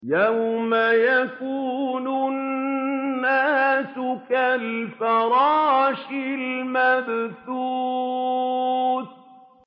يَوْمَ يَكُونُ النَّاسُ كَالْفَرَاشِ الْمَبْثُوثِ